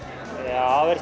ja